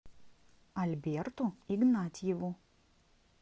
альберту игнатьеву